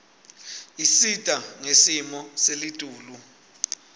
isita ngesimo selitulu